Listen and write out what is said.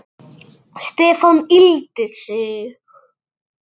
Stefán yggldi sig.